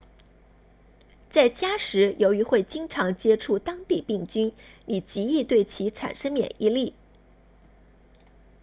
在家时由于会经常接触当地病菌你极易对其产生免疫力